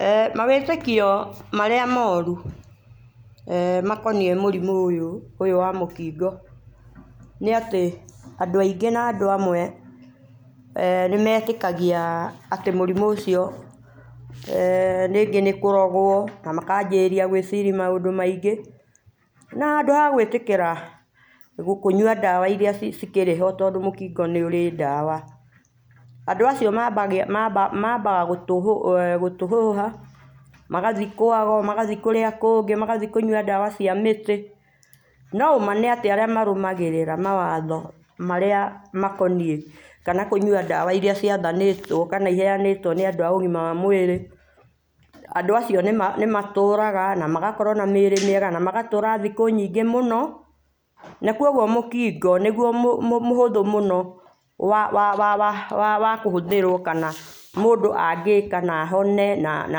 Eeh mawĩtĩkio marĩa moru makoniĩ mũrimũ ũyũ ,ũyũ wa mũkingo nĩ atĩ andũ aingĩ na andũ amwe nĩmetĩkagia atĩ mũrimũ ũcio rĩngĩ nĩ kũrogwo na makambĩrĩriaa gwĩciria maũndũ maingĩ na handũ ha gwĩtĩkĩra gũkĩnyũa dawa irĩa cikĩrĩ ho tondũ mũkingo nĩ ũrĩ dawa andũ acio maba mabaga gũtũ gũtũhũha magathiĩ kwa ago magathikũrĩa kũngĩ magathiĩ kũnyũa dawa cia mĩtĩ no ũma nĩ atĩ arĩa marũmagĩrĩra mawatho marĩa makoniĩ kana kũnyũa dawa irĩa ciathanĩtwo kana iheanĩtwo nĩ andũ a ũgima wa mwĩrĩ andũ acio nĩ matũraga na magakorwo na mĩrĩ mĩega kana magatũra thikũ nyingĩ mũno na kũogũo mũkingo nĩgũo mũ mũhũthũ mũno wa wa wakũhũthĩrwo kana mũndũ angĩka na ahone na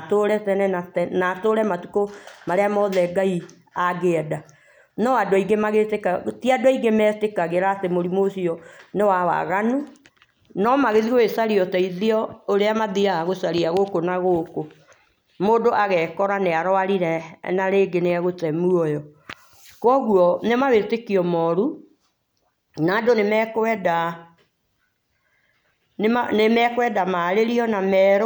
atũre tene na tene na atũre matũkũ marĩa maothe Ngai angĩenda, no andũ aingĩ magĩtĩka tĩ andũ aingĩ me tĩkagĩra atĩ mũrimũ ũcio nĩwa waganũ no magĩthiĩ gũgĩcaria ũteithio ũrĩa mathĩaga gũcaria gũkũ na gũkũ mũndũ agekora nĩ arwarire na rĩngĩ nĩ egũte mũoyo kogũo nĩ mawĩtĩkio morũ na andũ nĩmekwenda marĩrio na merwo.